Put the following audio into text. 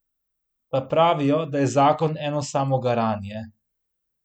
Pa pravijo, da je zakon eno samo garanje.